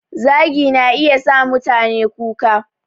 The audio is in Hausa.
Zagi na iya sa mutane kuka